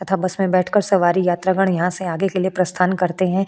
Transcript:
तथा बस में बैठकर सवारी यात्रागण यहाँ से आगे के लिए प्रस्थान करते है।